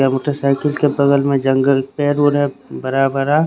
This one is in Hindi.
या मोटर साइकिल के बगल में जंगल पेर उरे भरा भरा--